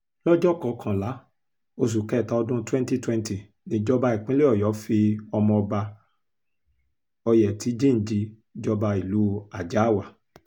lọ́jọ́ kọkànlá oṣù kẹta ọdún twenty twenty nìjọba ìpínlẹ̀ ọ̀yọ́ fi ọmọọba ọ̀yẹ́tìjiǹji jọba ìlú àjàáwá